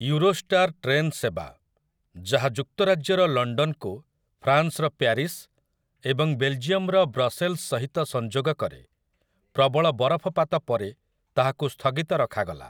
Eurostar train ସେବା, ଯାହା ଯୁକ୍ତରାଜ୍ୟର ଲଣ୍ଡନକୁ ଫ୍ରାନ୍ସର ପ୍ୟାରିସ୍ ଏବଂ ବେଲ୍‌ଜିୟମର ବ୍ରସେଲ୍‌ସ ସହିତ ସଂଯୋଗ କରେ, ପ୍ରବଳ ବରଫପାତ ପରେ ତାହାକୁ ସ୍ଥଗିତ ରଖାଗଲା ।